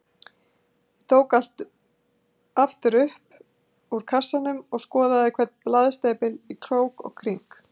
Ég tók allt aftur upp úr kassanum og skoðaði hvern blaðsnepil í krók og kring.